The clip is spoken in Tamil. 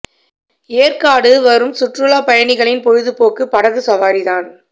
ஏற்காடு வரும் சுற்றுலாப் பயணிகளின் பொழுது போக்கு படகு சவாரிதான்